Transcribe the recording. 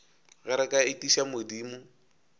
ge re ka etiša modimo